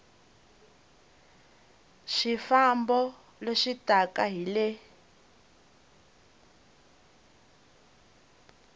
swifambo leswi taka hi le